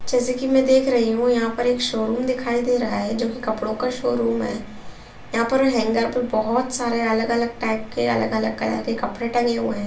जैसे कि मैं देख रही हूं यहाँ पर एक शोरूम दिखाई दे रहा है जो कि कपड़ों का शोरूम है यहाँ पर हैंगर पर बहुत सारे अलग-अलग टाइप के अलग-अलग कलर के कपड़े टंगे हुए हैं।